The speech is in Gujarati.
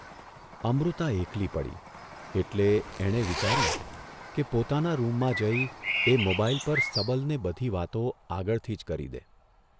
અમૃતા એકલી પડી એટલે એણે વિચાર્યું કે પોતાના રૂમમાં જઇ એ મોબાઇલ પર સબલને બધી વાતો આગળથી જ કરી દે.